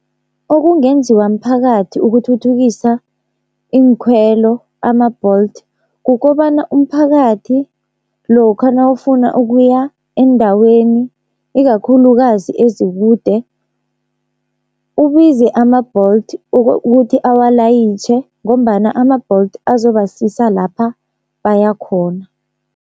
Okungenziwa mphakathi ukuthuthukisa iinkhwelo ama-Bolt, kukobana umphakathi lokha nawufuna ukuya eendaweni ikakhulukazi ezikude ubize ama-Bolt ukuthi awalayitjhe, ngombana ama-Bolt azoba susa lapha bayakhona.